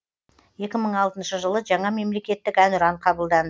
екі мың алтыншы жылы жаңа мемлекеттік әнұран қабылданды